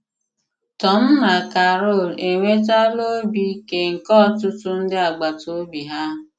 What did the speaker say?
Tòm na Càrol enwetàlà ọ̀bì ìkè nke ọtụtụ ndị agbàtà òbì hà.